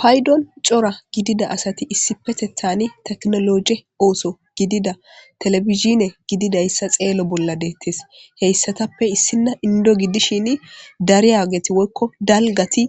paydon cora gidida asati issipetethani teknologe ooso gidida telebizhine gididayssa xeelo bolla deettes heyssatappe issinna indo giddishin dariyageti woykko dalgati